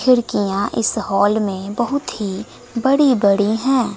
खिड़कियां इस हॉल में बहुत ही बड़ी बड़ी है।